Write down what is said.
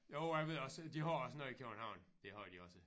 Jo jeg ved også de har også noget i København det har de også